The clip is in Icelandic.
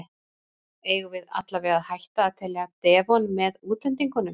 Eigum við allavega að hætta að telja Devon með útlendingunum?